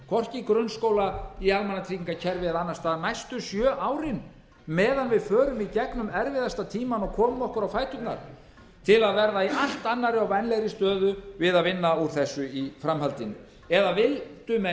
hvorki grunnskóla né almannatryggingakerfið eða annars staðar næstu sjö árin meðan við förum í gegnum erfiðasta tímann og komum okkur á fæturna til að verða í allt annarri og vænlegri stöðu við að vinna úr þessu í framhaldinu eða vildu menn